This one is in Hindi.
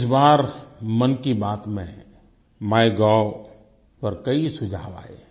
इस बार मन की बात में माइगोव पर कई सुझाव आये हैं